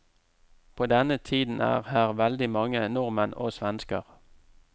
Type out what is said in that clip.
På denne tiden er her veldig mange nordmenn og svensker.